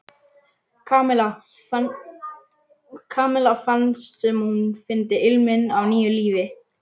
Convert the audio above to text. Kamilla fannst sem hún fyndi ilminn af nýju lífi.